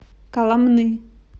коломны